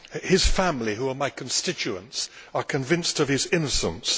His family, who are my constituents, are convinced of his innocence.